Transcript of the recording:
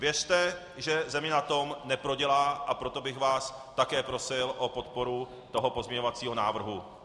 Věřte, že země na tom neprodělá, a proto bych vás také prosil o podporu toho pozměňovacího návrhu.